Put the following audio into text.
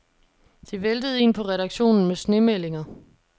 Det væltede ind på redaktionen med snemeldinger.